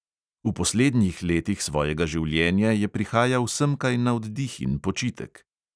V poslednjih letih svojega življenja je prihajal semkaj na oddih in počitek.